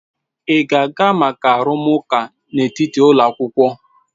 Ị ga-aga maka arụmụka n'etiti ụlọ akwụkwọ?